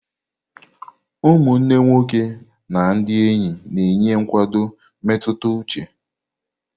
Ụmụnne nwoke na ndị enyi na-enye nkwado mmetụta uche.